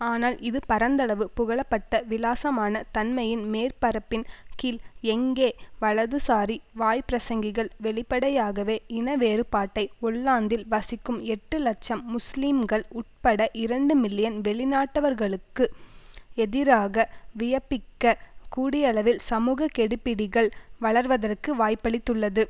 ஆனால் இது பரந்தளவு புகழப்பட்ட விலாசமான தன்மையின் மேற்பரப்பின் கீழ் எங்கே வலதுசாரி வாய்ப்பிரசங்கிகள் வெளிப்படையாகவே இன வேறுபாட்டை ஒல்லாந்தில் வசிக்கும் எட்டு இலட்சம் முஸ்லீம்கள் உட்பட இரண்டு மில்லியன் வெளி நாட்டவர்களுக்கு எதிராக வியபிக்க கூடியளவில் சமூக கெடுபிடிகள் வளர்வதற்கு வாய்ப்பளித்துள்ளது